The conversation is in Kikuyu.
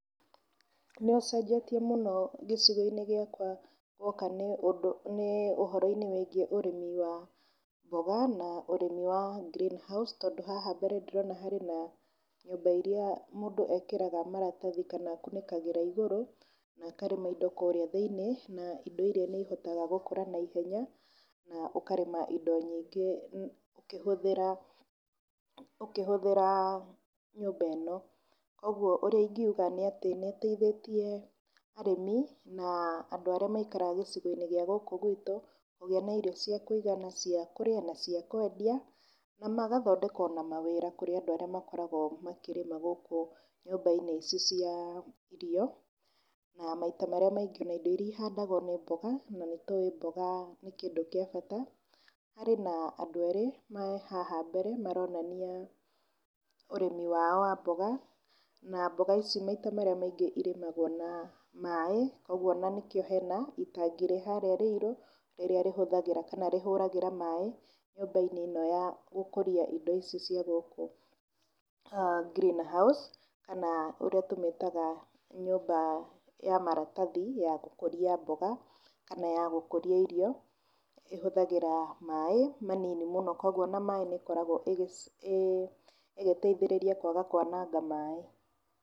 Nĩ ũcenjetie mũnoi gĩcigo-inĩ gĩakwa guoka nĩ ũndũ nĩ ũhoro-inĩ wĩgiĩ ũrĩmi wa mboga, na ũrĩmi wa green house. Tondũ haha mbere ndĩrona harĩ na nyũmba iria mũndũ ekĩraga maratathi kana akunĩkagĩra igũrũ na akarĩma indo kũrĩa thĩinĩ na indo iria nĩ ihotaga gũkũra na ihenya, na ũkarĩma indo nyingĩ ũkĩhũthĩra nyũmba ĩno. Ũguo ũrĩa ingiuga nĩ atĩ nĩ ũteithĩtie arĩmi na andũ arĩa maikaraga gĩcigo-inĩ gĩa gũkũ gwitũ kũgĩa na irio cia kũigana cia kũrĩa na cia kwendia. Na magathondeka ona mawĩra kũrĩa andũ arĩa makoragwo makĩrĩma gũkũ nyũmba-inĩ ici cia irio, na maita marĩa maingĩ na indo iria ihandagwo nĩ mboga na nĩ tũĩ mboga nĩ kĩndũ kĩa bata. Na harĩ na andũ erĩ me haha mbere maronania ũrĩmi wao wa mboga na mboga ici maita marĩa maingĩ irĩmagwo na maaĩ. Koguo ona nĩkĩo hena itangi rĩharĩa rĩirũ rĩrĩa rĩhũthagĩra kana rĩhũragĩra maaĩ nyũmba-inĩ ĩno ya gũkũria indo ici cia gũkũ green house, kana ũrĩa tũmĩtaga nyũmba ya maratathi ya gũkũria mboga kana ya gũkũria irio. ĩhũthagĩra maaĩ manini mũno koguo ona maaĩ nĩ ĩkoragwo ĩgĩteithĩrĩria kwaga kwananga maaĩ.